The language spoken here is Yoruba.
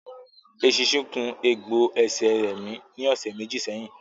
Eṣinṣin kun egbò ẹsẹ̀ rẹmi ní ọ̀sẹ̀ méjì sẹ́yìn